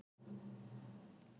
Hvar ætli þau séu?